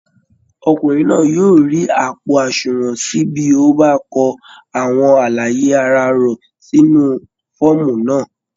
Ọ̀kùnrin náà yóò rí àpò àṣùnwọ̀n ṣí bí ó bá kọ àwọn àlàyé ara rọ̀ sínú fọ́ọ̀mù náà